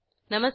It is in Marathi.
नमस्कार